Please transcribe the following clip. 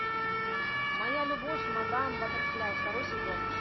моя любовь мадам баттерфляй второй сезон